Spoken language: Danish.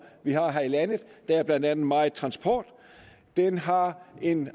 vi har her i landet der er blandt andet meget transport den har en